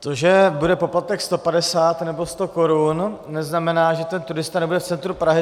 To, že bude poplatek 150 nebo 100 korun, neznamená, že ten turista nebude v centru Prahy.